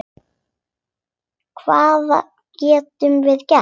Hvað getum við gert?